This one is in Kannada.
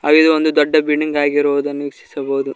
ಹಾಗೆ ಇದು ಒಂದು ದೊಡ್ಡ ಬಿಲ್ಡಿಂಗ್ ಆಗಿರುವುದನ್ನು ವೀಕ್ಷಿಸಬಹುದು.